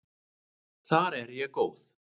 Þar er ég góð.